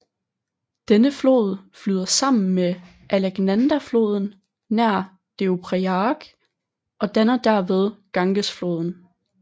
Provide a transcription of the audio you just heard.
Denne flod flyder sammen med Alaknandafloden nær Deoprayag og danner derved Gangesfloden